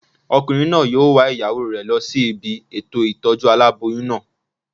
Ọkùnrin náà yóò wa ìyàwó rẹ̀ lọ sí ibi ètò ìtọ́jú aláboyún náà